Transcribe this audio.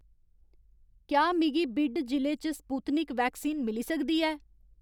क्या मिगी बिड जि'ले च स्पुत्निक वैक्सीन मिली सकदी ऐ